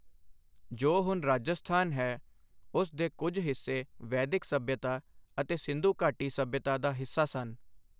ਜੋ ਹੁਣ ਰਾਜਸਥਾਨ ਹੈ, ਉਸ ਦੇ ਕੁਝ ਹਿੱਸੇ ਵੈਦਿਕ ਸੱਭਿਅਤਾ ਅਤੇ ਸਿੰਧੂ ਘਾਟੀ ਸੱਭਿਅਤਾ ਦਾ ਹਿੱਸਾ ਸਨ।